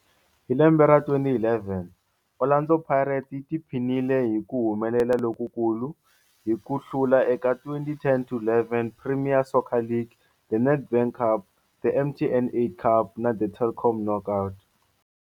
Hi lembe ra 2011, Orlando Pirates yi tiphinile hi ku humelela lokukulu hi ku hlula eka 2010-11 Premier Soccer League, The Nedbank Cup, The MTN 8 Cup na The Telkom Knockout.